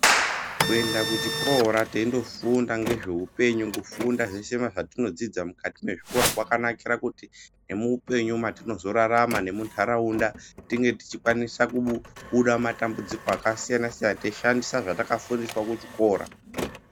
Kuenda kuchikora teindofunda ngezveupenyu, kufunda zveshe zvatinodzidza muchikora kwakanakira kuti nemuupenyu matinozorarama nemunharaunda tinge tichikwanisa kubuda mumatambudziko akasiyana siyana, teishandisa zvatakafundiswa kuchikora.